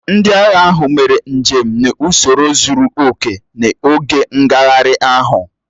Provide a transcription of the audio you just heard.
Ndị agha ahụ mere njem n'ụsoro zuru oke n'oge ngagharị ahụ